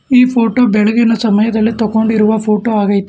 ಈ ಫೋಟೋ ಬೆಳಗಿನ ಸಮಯದಲ್ಲಿ ತೋಗೊಂಡಿರುವ ಫೋಟೋ ಆಗೈತೆ.